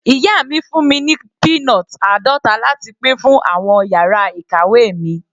Ìyá mi fún mi ní peanut àádọta láti pín fún àwọn yàrá ìkàwé mi.